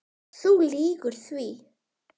Þú lýgur því.